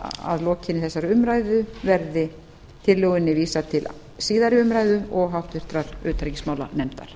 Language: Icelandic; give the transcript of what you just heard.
að lokinni þessari umræðu verði tillögunni vísað til síðari umræðu og háttvirtrar utanríkismálanefndar